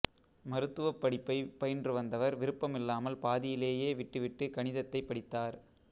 மருத்துவப் படிப்பை பயின்று வந்தவர் விருப்பமில்லாமல் பாதியிலேயே விட்டுவிட்டு கணிதத்தைப் படித்தார்